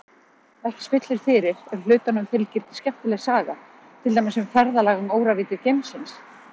Ekki spillir fyrir ef hlutunum fylgir skemmtileg saga, til dæmis um ferðalag um óravíddir geimsins.